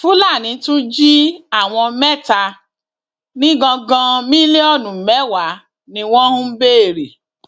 fúlàní tún jí àwọn mẹta nìgangan mílíọnù mẹwàá ni wọn ń béèrè